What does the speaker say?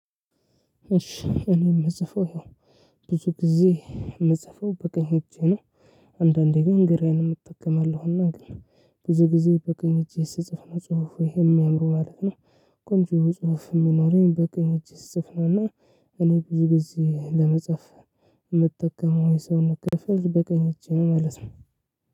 እሺ እኔ የምጽፈው ይሄው ብዙ ጊዜ የምጽፈው በቀኝ እጄ ነው። አንዳንዴ ግን ግራዬንም እጠቀማለሁና ግን ብዙ ጊዜ በቀኝ እጄ ስጽፍ ነው ጽሁፉ የሚያምረው ማለት ነው። ቆንጆ ጽሁፍ የሚኖረኝ በቀኝ እጅ ስጽፍ ነውና። እኔ ብዙ ጊዜ ለመጻፍ የምጠቀመው የሰውነት ክፍል በቀኝ እጄ ነው ማለት ነው።